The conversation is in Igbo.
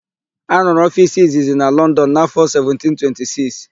A rụrụ ofiisi izizi na Lọndọn n'áfọ̀ 1726.